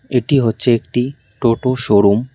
এটি হচ্ছে একটি টোটো শোরুম ।